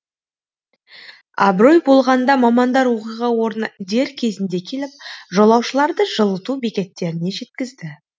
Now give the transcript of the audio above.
абырой болғанда мамандар оқиға орнына дер кезінде келіп жолаушыларды жылыту бекеттеріне жеткізді